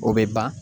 O bɛ ban